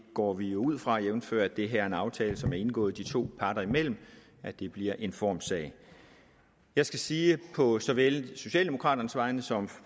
går vi ud fra jævnfør at det her er en aftale som er indgået de to parter imellem bliver en formssag jeg skal sige på såvel socialdemokraternes vegne som